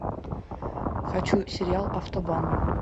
хочу сериал автобан